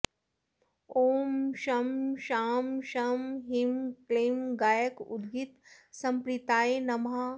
ॐ शं शां षं ह्रीं क्लीं गायकोद्गीतसम्प्रीताय नमः